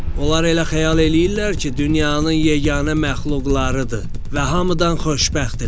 Onlar elə xəyal eləyirlər ki, dünyanın yeganə məxluqlarıdır və hamıdan xoşbəxtdilər.